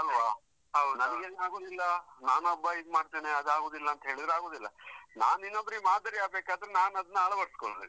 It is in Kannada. ಅಲ್ವಾ? ನಮ್ಗೆಲ್ಲಾ ಆಗುದಿಲ್ಲ, ನಾನೊಬ್ಬ ಇದ್ ಮಾಡ್ತೇನೆ ಅದಾಗುದಿಲ್ಲ ಅಂತೇಳಿದ್ರೆ ಆಗುದಿಲ್ಲ. ನಾನಿನ್ನೊಬ್ಬರಿಗೆ ಮಾದರಿ ಆಗ್ಬೇಕಾದ್ರೆ ನಾನ್ ಅದನ್ನ ಅಳವಡಿಸ್ಕೊಳ್ಬೇಕು.